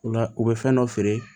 O la u bɛ fɛn dɔ feere